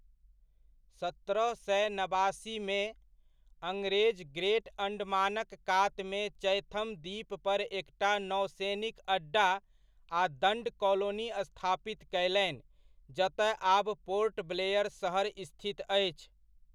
सत्रह सए नबासीमे, अङ्ग्रेज ग्रेट अण्डमानक कातमे चैथम द्वीप पर एकटा नौसैनिक अड्डा आ दण्ड कॉलोनी स्थापित कयलनि जतय आब पोर्ट ब्लेयर सहर स्थित अछि।